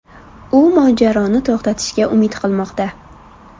U mojaroni to‘xtatishga umid qilmoqda.